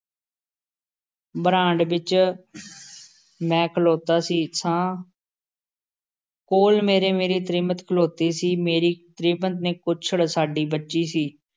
Brand ਵਿੱਚ ਮੈਂ ਖਲੋਤਾ ਸੀ ਸਾਂ । ਕੋਲ਼ ਮੇਰੇ ਮੇਰੀ ਤ੍ਰੀਮਤ ਖਲੋਤੀ ਸੀ । ਮੇਰੀ ਤ੍ਰੀਮਤ ਦੇ ਕੁੱਛੜ ਸਾਡੀ ਬੱਚੀ ਸੀ,